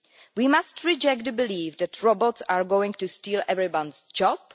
We must reject the belief that robots are going to steal everyone's job.